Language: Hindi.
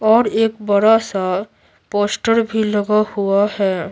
और एक बड़ा सा पोस्टर भी लगा हुआ है।